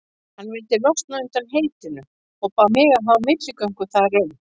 Hann vildi losna undan heitinu og bað mig að hafa milligöngu þar um.